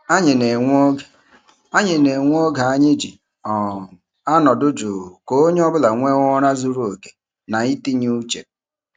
Anyị na-enwe oge Anyị na-enwe oge anyị ji um anọdụ juu ka onye ọ bụla nwee ụra zuru oke na itinye uche.